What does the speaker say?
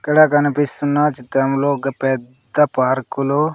ఇక్కడ కనిపిస్తున్న చిత్రంలో ఒక పెద్ద పార్కులు --